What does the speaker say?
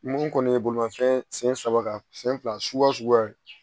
Mun kɔni ye bolimafɛn sen saba kan sen fila suguya suguya